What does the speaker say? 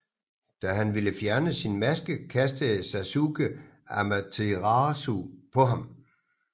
Da han ville fjerne sin maske kastede Sasuke Amaterasu på ham